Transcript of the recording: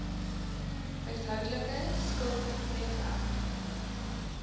huishoudelike skuld breedweg